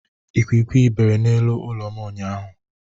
Ikwikwi bere n'elu ụlọ m ụnyaahụ.